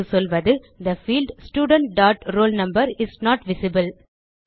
இது சொல்வது the field student dot roll number is not visible